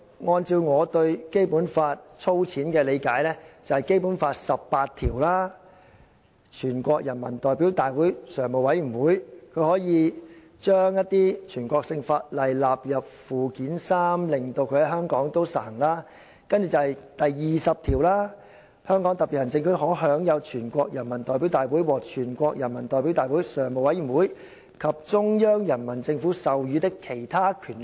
按照我對《基本法》粗淺的理解，這"數扇門"包括《基本法》第十八條訂明，全國人民代表大會常務委員會可以將一些全國性法律納入《基本法》附件三，令其在香港實行；然後，第二十條訂明："香港特別行政區可享有全國人民代表大會或全國人民代表大會常務委員及中央人民政府授予的其他權力。